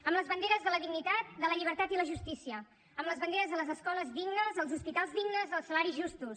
amb les banderes de la dignitat de la llibertat i la justícia amb les banderes de les escoles dignes els hospitals dignes els salaris justos